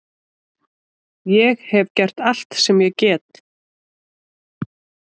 Ég hef gert allt sem ég get.